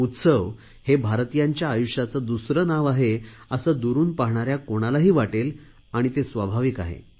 उत्सव हेच भारतीयांच्या आयुष्याचे दुसरे नाव आहे असे दुरुन पाहणाऱ्या कोणालाही वाटेल आणि ते स्वाभाविक आहे